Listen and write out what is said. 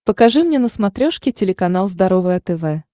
покажи мне на смотрешке телеканал здоровое тв